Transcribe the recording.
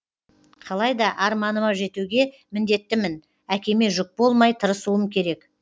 қалайда арманыма жетуге міндеттімін әкеме жүк болмай тырысуым керек